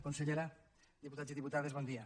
consellera diputats i diputades bon dia